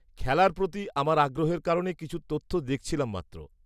-খেলার প্রতি আমার আগ্রহের কারণে কিছু তথ্য দেখছিলাম মাত্র।